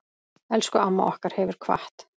Elsku amma okkar hefur kvatt.